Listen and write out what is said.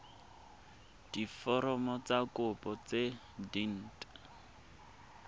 diforomo tsa kopo tse dint